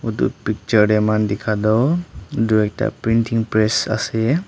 edu picture tae amikan dikhatoh edu ekta printing press ase.